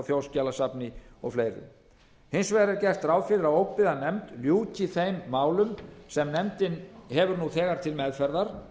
þjóðskjalasafni og fleiri hins vegar er gert ráð fyrir að óbyggðanefnd ljúki þeim málum sem nefndin hefur nú þegar til meðferðar